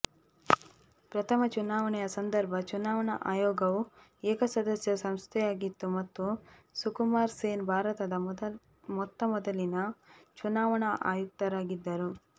ಪ್ರಥಮ ಚುನಾವಣೆಯ ಸಂದರ್ಭ ಚುನಾವಣಾ ಆಯೋಗವು ಏಕಸದಸ್ಯ ಸಂಸ್ಥೆಯಾಗಿತ್ತು ಮತ್ತು ಸುಕುಮಾರ್ ಸೇನ್ ಭಾರತದ ಮೊತ್ತಮೊದಲಿನ ಚುನಾವಣಾ ಆಯುಕ್ತರಾಗಿದ್ದರು